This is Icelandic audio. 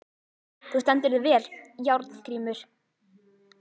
Þú stendur þig vel, Járngrímur!